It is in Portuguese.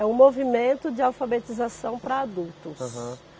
É o movimento de alfabetização para adultos. Aham.